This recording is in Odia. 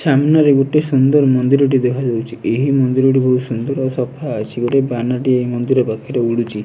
ସାମ୍ନା ରେ ଗୋଟେ ସୁନ୍ଦର ମନ୍ଦିର ଟି ଦେଖାଯାଉଛି ଏହି ମନ୍ଦିର ଟି ବହୁତ ସୁନ୍ଦର ଓ ସଫା ଅଛି ଗୋଟିଏ ବାନା ଟିଏ ଏହି ମନ୍ଦିର ପାଖରେ ଉଡୁଛି।